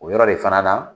O yɔrɔ de fana na